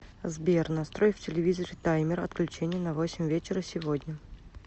сбер настрой в телевизоре таймер отключения на восемь вечера сегодня